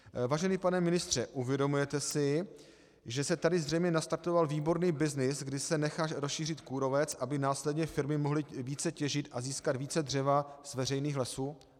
Vážený pane ministře, uvědomujete si, že se tady zřejmě nastartoval výborný byznys, kdy se nechá rozšířit kůrovec, aby následně firmy mohly více těžit a získat více dřeva z veřejných lesů?